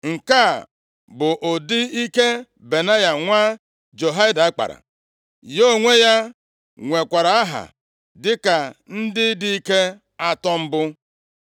Nke a bụ ụdị ike Benaya nwa Jehoiada kpara. Ya onwe ya nwekwara aha dịka ndị dike atọ mbụ.